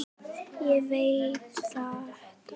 Ég veit þetta.